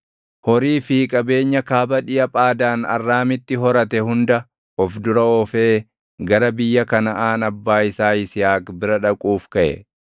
horii fi qabeenya kaaba dhiʼa Phaadaan Arraamiitti horatte hunda of dura oofee gara biyya Kanaʼaan abbaa isaa Yisihaaq bira dhaquuf kaʼe.